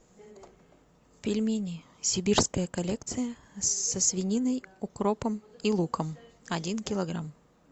пельмени сибирская коллекция со свининой укропом и луком один килограмм